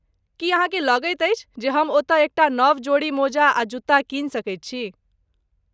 की अहाँकेँ लगैत अछि जे हम ओतय एकटा नव जोड़ी मोजा आ जुत्ता कीनि सकैत छी?